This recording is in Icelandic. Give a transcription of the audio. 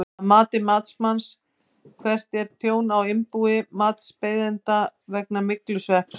Að mati matsmanns, hvert er tjón á innbúi matsbeiðanda vegna myglusvepps?